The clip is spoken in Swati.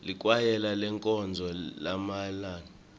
likwayela lenkonzo yalabasha